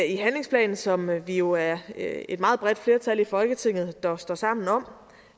i handlingsplanen som vi jo er er et meget bredt flertal i folketinget der står sammen om